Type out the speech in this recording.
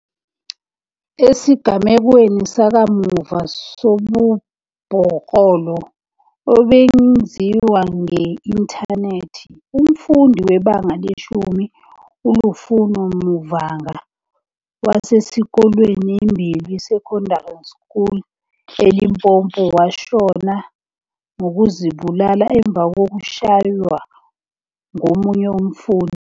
Esigamekweni sakamuva sobubhoklolo obenziwa nge-inthanethi, umfundi weBanga le-10 uLufuno Mavhunga, wasesikolweni iMbilwi Secondary School eLimpopo, washona ngokuzibulala emva kokushaywa ngomunye umfundi.